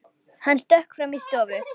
Hann stökk fram í stofu.